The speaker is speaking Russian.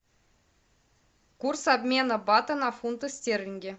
курс обмена бата на фунты стерлинги